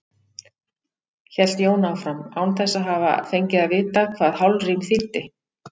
hélt Jón áfram, án þess að hafa fengið að vita hvað hálfrím þýddi.